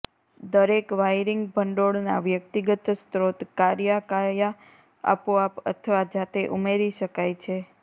દરેક વાયરિંગ ભંડોળના વ્યક્તિગત સ્ત્રોત કર્યા ક્યાં આપોઆપ અથવા જાતે ઉમેરી શકાય છે